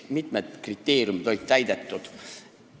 Mitmed kriteeriumid olid täidetud.